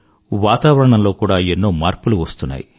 వాతావరణంలో కూడా ఎన్నో మార్పులు వస్తున్నాయి